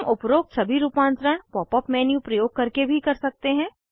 हम उपरोक्त सभी रूपांतरण पॉप अप मेन्यू प्रयोग करके भी कर सकते हैं